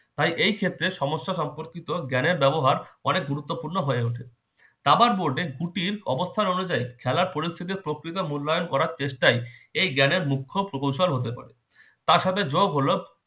তাই এই ক্ষেত্রে সমস্যা সম্পর্কিত জ্ঞানের ব্যবহার অনেক গুরুত্বপূর্ণ হয়ে ওঠে দাবার board এর গুটির অবস্থান অনুযায়ী খেলার পরিস্থিতির প্রকৃতি মূল্যায়ন করার চেষ্টায় এই জ্ঞানের মুখ্য প্রকৌশল হতে পারে তার সাথে যোগ হলো